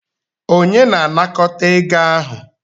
Onye na anakọta ego ahụ?